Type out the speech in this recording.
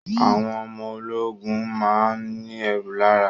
Àwọn ọmọ ológun máa ń ní ẹ̀rù lára